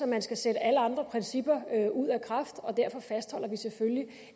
man skal sætte alle andre principper ud af kraft og derfor fastholder vi selvfølgelig